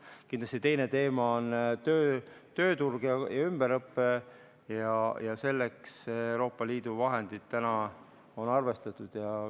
Kindlasti on teine teema tööturg ja ümberõpe ja selleks on Euroopa Liidu vahendid arvestatud.